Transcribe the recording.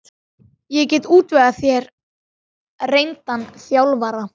Ég get útvegað þér reyndan þjálfara.